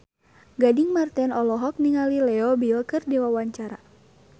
Gading Marten olohok ningali Leo Bill keur diwawancara